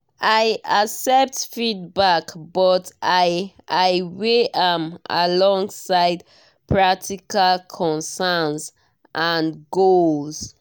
i accept feedback but i i weigh am alongside practical concerns and goals.